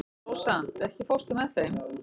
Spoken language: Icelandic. Rósant, ekki fórstu með þeim?